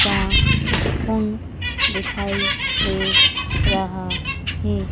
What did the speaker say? जहां कोन दिखाई दे रहा है।